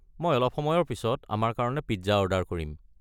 মই অলপ পিছত আমাৰ কাৰণে পিজ্জা অৰ্ডাৰ কৰিম।